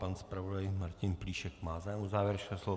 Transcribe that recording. Pan zpravodaj Martin Plíšek má zájem o závěrečné slovo.